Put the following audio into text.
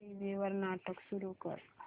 TV वर नाटक सुरू कर